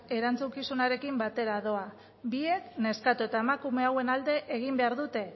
erantzukizunarekin batera doa biek neskato eta emakume hauen alde egin behar dute